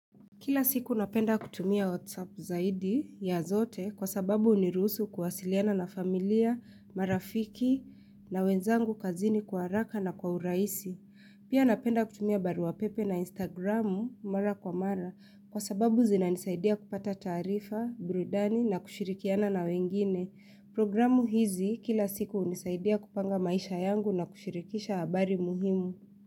Kila siku napenda kutumia WhatsApp zaidi ya zote kwa sababu hunirusu kuwasiliana na familia, marafiki na wenzangu kazini kwa haraka na kwa urahisi. Pia napenda kutumia baruapepe na Instagramu mara kwa mara kwa sababu zinanisaidia kupata taarifa, burudani na kushirikiana na wengine. Programu hizi kila siku hunisaidia kupanga maisha yangu na kushirikisha habari muhimu.